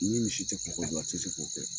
Ni misi tɛ kɔkɔ dun, a tɛ se k'o kɛ.